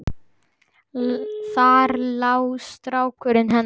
Þar lá styrkur hennar.